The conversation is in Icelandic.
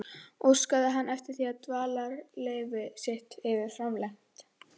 Óskaði hann eftir því, að dvalarleyfi sitt yrði framlengt.